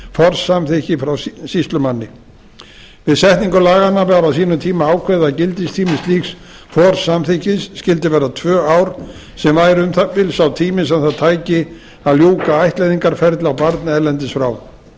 forsamþykki frá sýslumanni við setningu laganna var á sínum tíma ákveðið að gildistími slíks forsamþykkis skyldi vera tvö ár sem væri um það bil sá tími sem það tæki að ljúka ættleiðingarferli á barni erlendis frá með lögum